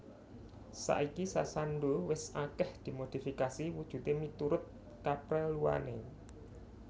Saiki sasando wis akeh dimodifikasi wujude miturut kapreluane